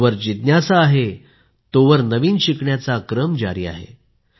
जोवर जिज्ञासा आहे तोवर नवीन शिकण्याचा क्रम जारी आहे